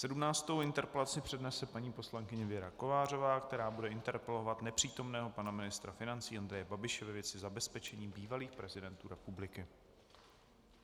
Sedmnáctou interpelaci přednese paní poslankyně Věra Kovářová, která bude interpelovat nepřítomného pana ministra financí Andreje Babiše ve věci zabezpečení bývalých prezidentů republiky.